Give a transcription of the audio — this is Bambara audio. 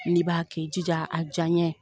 N'i b'a kɛ i jija a diyaɲe